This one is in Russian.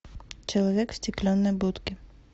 человек в стеклянной будке